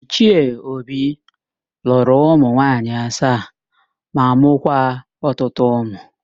Ichie Obi lụrụ ụmụ nwaanyị asaa ma mụkwa ọtụtụ ụmụ.